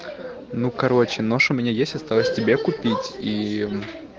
ну короче нож у меня есть осталось тебе купить и